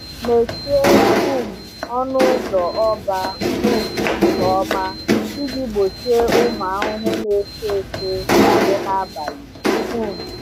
Mechie um ọnụ ụzọ ọba um nke ọma iji gbochie ụmụ ahụhụ na-efe efe banye n’abalị. um